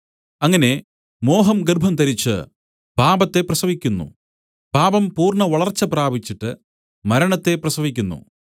അങ്ങനെ മോഹം ഗർഭംധരിച്ചു പാപത്തെ പ്രസവിക്കുന്നു പാപം പൂർണ്ണവളർച്ച പ്രാപിച്ചിട്ട് മരണത്തെ പ്രസവിക്കുന്നു